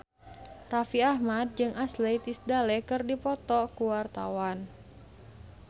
Raffi Ahmad jeung Ashley Tisdale keur dipoto ku wartawan